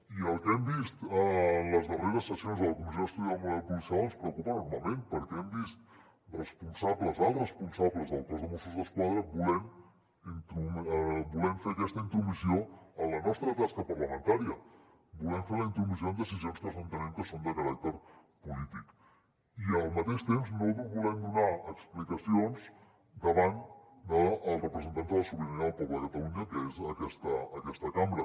i el que hem vist en les darreres sessions a la comissió d’estudi del model policial ens preocupa enormement perquè hem vist alts responsables del cos de mossos d’esquadra volent fer aquesta intromissió en la nostra tasca parlamentària volent fer la intromissió en decisions que nosaltres entenem que són de caràcter polític i al mateix temps no volent donar explicacions davant dels representants de la sobirania del poble de catalunya que és aquesta cambra